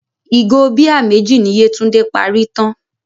Ìgò bíà méjì ni Yétúndé parí tán.